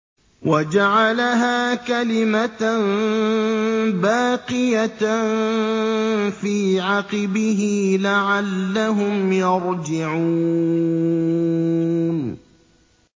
وَجَعَلَهَا كَلِمَةً بَاقِيَةً فِي عَقِبِهِ لَعَلَّهُمْ يَرْجِعُونَ